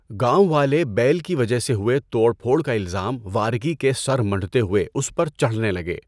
گاوٴں والے بیل کی وجہ سے ہوئے توڑ پھوڑ کا الزام وارکی کے سر منڈھتے ہوئے اس پر چڑھنے لگے۔